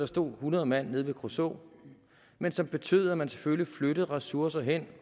stå hundrede mand nede ved kruså men som betød at man selvfølgelig skulle flytte ressourcerne hen